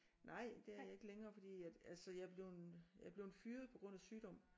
Nej det er jeg ikke længere fordi at altså jeg er blevet jeger blevet fyret på grund af sygdom